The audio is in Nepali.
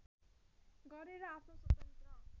गरेर आफ्नो स्वतन्त्र